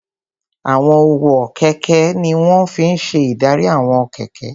Àwọn ọwọ́ kẹ̀kẹ́ ní wọ́n fi n ṣe ìdarí àwọn kẹ̀kẹ́